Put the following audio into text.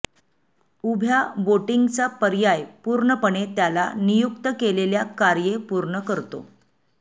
उभ्या बोटिंगचा पर्याय पूर्णपणे त्याला नियुक्त केलेल्या कार्ये पूर्ण करतो